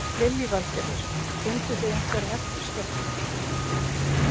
Lillý Valgerður: Funduð þið einhverja eftirskjálfta?